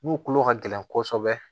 Mun kolo ka gɛlɛn kɔsɔbɛ